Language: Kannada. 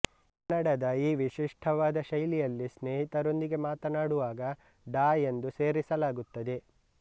ಕನ್ನಡದ ಈ ವಿಶಿಷ್ಠವಾದ ಶೈಲಿಯಲ್ಲಿ ಸ್ನೇಹಿತರೊಂದಿಗೆ ಮಾತಾನಾಡುವಾಗ ಡಾ ಎಂದು ಸೇರಿಸಲಾಗುತ್ತದೆ